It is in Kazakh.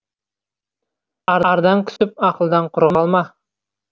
ардан күсіп ақылдан құры қалма